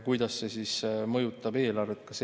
Kuidas see mõjutab eelarvet?